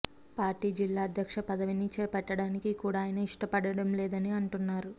party జిల్లా అధ్యక్ష పదవిని చేపట్టడానికి కూడా ఆయన ఇష్టపడడం లేదని అంటున్నారు